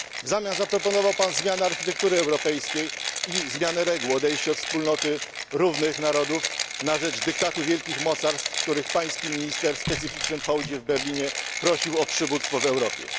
W zamian zaproponował Pan zmiany architektury europejskiej i zmianę reguł odejście od wspólnoty równych narodów na rzecz dyktatu wielkich mocarstw, które Pański minister w specyficznym hołdzie w Berlinie prosił o przywództwo w Europie.